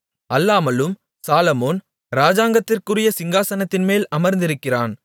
அல்லாமலும் சாலொமோன் ராஜாங்கத்திற்குரிய சிங்காசனத்தின்மேல் அமர்ந்திருக்கிறான்